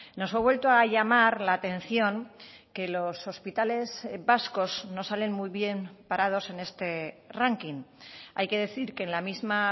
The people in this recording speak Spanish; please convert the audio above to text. nos ha vuelto a llamar la atención que los hospitales vascos no salen muy bien parados en este ranking hay que decir que en la misma